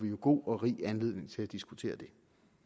god og rig anledning til at diskutere det